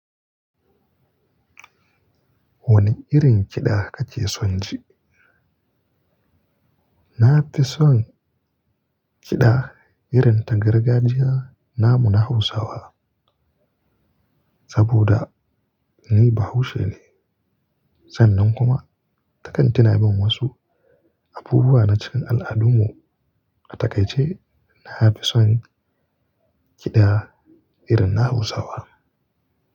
Wane irin kiɗa kake son ji? Na fi son kiɗa irin ta gargajiya namu na Hausawa, saboda, ni bahaushe ne. Sannan kuma takan tina mun wasu abubuwa na cikin al'adun mu. A takaice na fi son kiɗa irin na Hausawa.